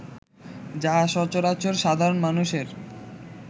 যাহা সচরাচর সাধারণ মানুষের